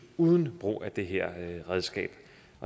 uden brug af det her redskab